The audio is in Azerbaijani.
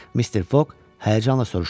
Mister Fog həyəcanla soruşdu.